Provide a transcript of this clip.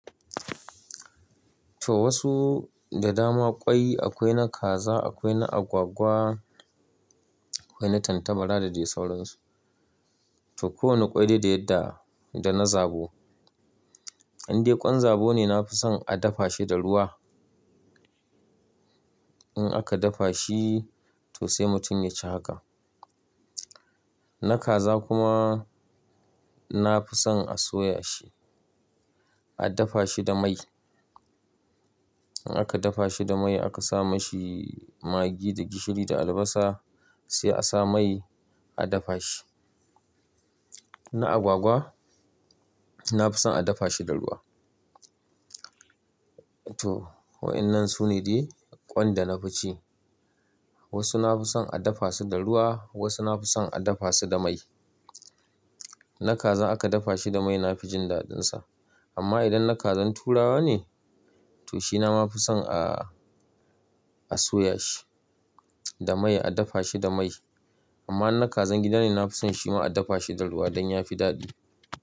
To wasu da dama kwai akwai na kaza, akwai na agwagwa, akwai na tattabara da dai sauran su. To kowane kwai dai da yadda dana zabo, indai ƙwan zabo ne na fi son a dafa shi da ruwa. In aka dafa shi to sai mutum ya ci haka. Na kaza kuma na fi son a soya shi, a dafa shi da mai. In aka dafa shi da mai aka sa mishi magi da gishiri da albasa sai a sa mai a dafa shi. Na agwagwa nafi son a dafa shi da ruwa. To wa'inan sune dai ƙwan da na fi ci. Wasu na fi son a dafa su da ruwa, wasu na fi son a dafa su da mai. Na kazan aka dafa shi da mai na fi jin daɗin sa. Amma idan na kazan turawa ne to shi na ma fi son a, a soya shi da mai a dafa shi da mai. Amma in na kazan gida ne na fi son shi ma a dafa shi da ruwa don yafi daɗi.